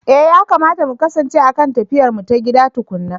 Eh yakamata mu kasance a kan tafiyarmu ta gida tukuna.